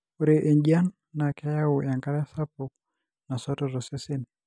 ore enjian na keyau enkare sapuk nasoto tosesen,